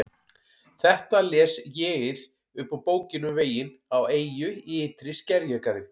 Þetta les ÉG-ið upp úr Bókinni um veginn á eyju í ytri skerjagarði